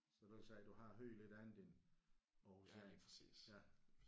Så du siger du har hørt lidt andet end aarhusiansk ja